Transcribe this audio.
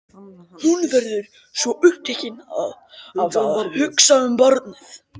Hún verður svo upptekin af að hugsa um barnið.